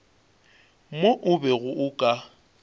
mo o bego o ka